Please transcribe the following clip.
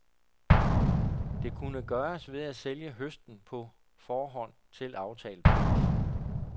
Det kunne gøres ved at sælge høsten på forhånd til aftalt pris.